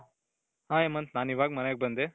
Hi Hemant ನಾನ್ ಇವಾಗ ಮನೆಗೆ ಬಂದೆ.